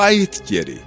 Qayıt geri.